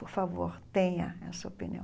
Por favor, tenha essa opinião.